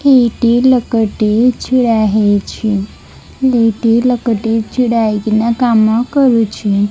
ଏଇଟି ଲୋକଟି ଛିଡା ହେଇଛି ଦିଟି ଲୋକଟି ଛିଡା ହେଇକିନା କାମ କରୁଚି।